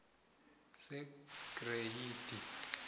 segreyidi